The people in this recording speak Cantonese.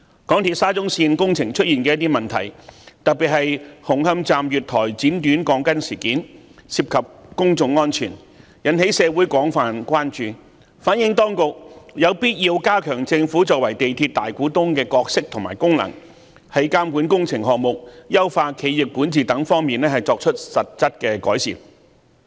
港鐵沙田至中環線工程出現的一些問題，特別是紅磡站月台剪短鋼筋事件涉及公眾安全，引起社會廣泛關注，反映當局有必要加強政府作為港鐵公司大股東的角色和功能，在監管工程項目、優化企業管治等方面作出實質的改善。